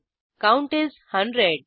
count is 100